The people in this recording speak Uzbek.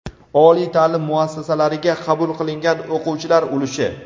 oliy taʼlim muassasalariga qabul qilingan o‘quvchilar ulushi;.